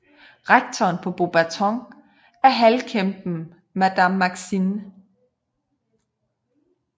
Rektoren på Beauxbatons er halvkæmpen Madame Maxime